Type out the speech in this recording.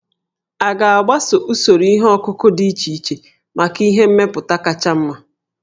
A ga-agbaso usoro ihe ọkụkụ dị iche iche maka ihe mmepụta kacha mma